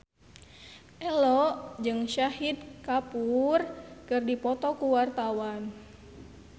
Ello jeung Shahid Kapoor keur dipoto ku wartawan